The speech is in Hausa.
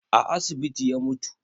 A asibiti ya mutu